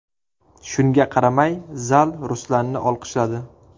Shunga qaramay, zal Ruslanni olqishladi.